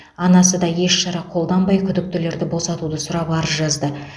анасы да еш шара қолданбай күдіктілерді босатуды сұрап арыз жазды